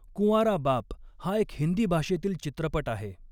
कुॅंवारा बाप हा एक हिंदी भाषेतील चित्रपट आहे.